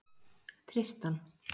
Tristan